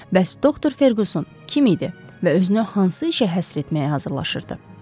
Bəs doktor Ferquson kim idi və özünü hansı işə həsr etməyə hazırlaşırdı?